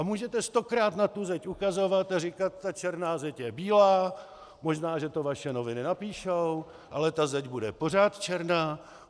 A můžete stokrát na tu zeď ukazovat a říkat "ta černá zeď je bílá", možná že to vaše noviny napíšou, ale ta zeď bude pořád černá.